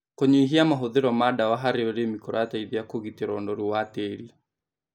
Kũnyihia mahũthĩro ma dawa harĩ ũrĩmi kũrateithia kũgitĩra ũnorũ wa tĩri